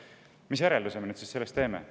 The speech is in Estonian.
Mis järelduse me sellest teeme?